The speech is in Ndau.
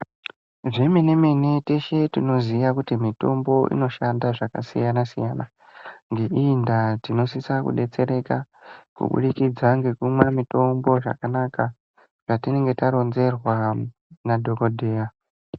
Zvemene mene teshe tinoziya kuti mitombo inoshanda zvakasiyana siyana ngeiyi ndaa tinosisa kudetsereka ngekubudikidza ngekumwa mutombo zvakanaka zvatinenge taronzerwa nadhokodheya.